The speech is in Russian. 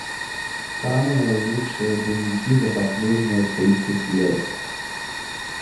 самые лучшие боевики за последние тридцать лет